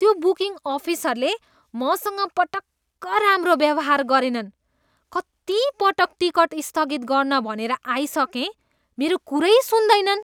त्यो बुकिङ अफिसरले मसँग पटक्क राम्रो व्यवहार गरेनन्। कति पटक टिकट स्थगित गर्न भनेर आइसकेँ, मेरो कुरै सुन्दैनन्!